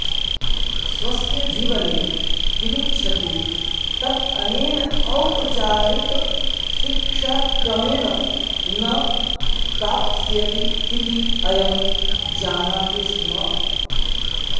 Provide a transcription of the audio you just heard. स्वस्य जीवने किमिच्छति तत् अनेन औपचारिकशिक्षाक्रमेण न प्राप्स्यति इति अयं जानाति स्म